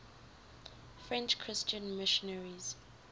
french christian missionaries